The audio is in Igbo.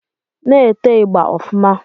Na-ete ị̣gba ọfụma